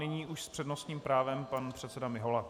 Nyní už s přednostním právem pan předseda Mihola.